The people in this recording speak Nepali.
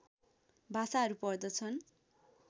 भाषाहरू पर्दछन्